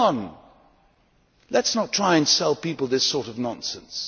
Come on, let us not try and sell people this sort of nonsense.